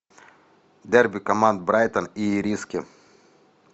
дерби команд брайтон и ириски